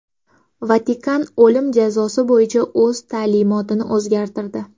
Vatikan o‘lim jazosi bo‘yicha o‘z ta’limotini o‘zgartirdi.